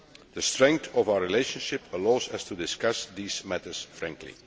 The strength of our relationship allows us to discuss these matters frankly.